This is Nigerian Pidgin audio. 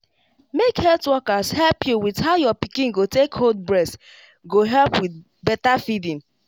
make health workers help you with how your pikin go take hold breast go help with better feeding.